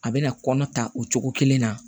A bɛna kɔnɔ ta o cogo kelen na